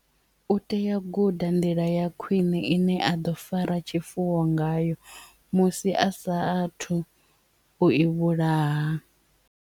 U tea u guda nḓila ya khwiṋe ine a ḓo fara tshifuwo ngayo musi a sa a thu u i vhulaha.